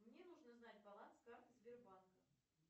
мне нужно знать баланс карты сбербанка